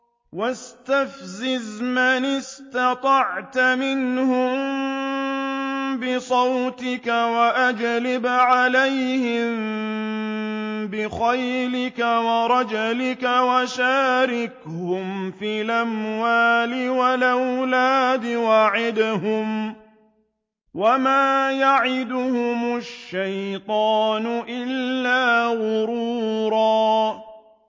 وَاسْتَفْزِزْ مَنِ اسْتَطَعْتَ مِنْهُم بِصَوْتِكَ وَأَجْلِبْ عَلَيْهِم بِخَيْلِكَ وَرَجِلِكَ وَشَارِكْهُمْ فِي الْأَمْوَالِ وَالْأَوْلَادِ وَعِدْهُمْ ۚ وَمَا يَعِدُهُمُ الشَّيْطَانُ إِلَّا غُرُورًا